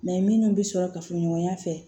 minnu bɛ sɔrɔ kafoɲɔgɔnya fɛ